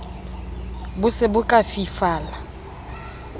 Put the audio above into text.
bo se bo ka fifala